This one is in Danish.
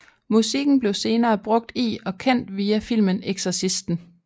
Musikken blev senere brugt i og kendt via filmen Exorcisten